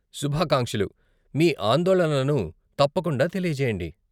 శుభాకాంక్షలు, మీ ఆందోళనలను తప్పకుండా తెలియజేయండి.